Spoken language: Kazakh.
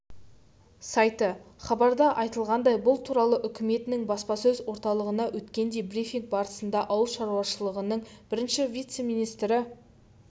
сайты хабарда айтылғандай бұл туралы үкіметінің баспасөз орталығында өткен брифинг барысында ауыл шаруашылығының бірінші вице-министрі